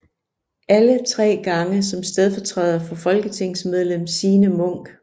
Alle tre gange som stedfortræder for folketingsmedlem Signe Munk